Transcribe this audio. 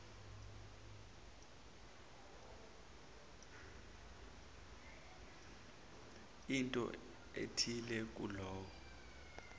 into ethile kuloyo